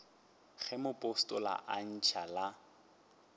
ge mopostola a ntšha la